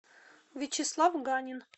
вячеслав ганин